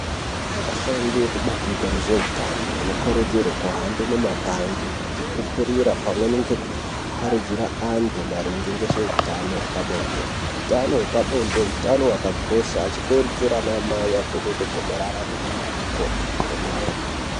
Ashandi ekubandiko rezveutano anokurudzirwe kuhambe mumaganga achitipupurira pamwe nekuparidzira antu maringe ngezveutano hwepabonde. Hutano hwepabonde hutano hwakakosha, achikurudzira anamai avhenekwe gomarara rechibereko.